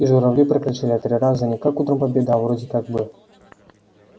и журавли прокричали три раза не как утром победа а вроде как бы